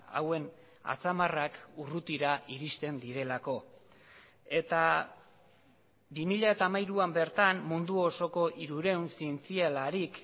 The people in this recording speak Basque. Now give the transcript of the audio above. hauen atzamarrak urrutira iristen direlako eta bi mila hamairuan bertan mundu osoko hirurehun zientzialarik